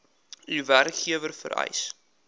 u werkgewer vereis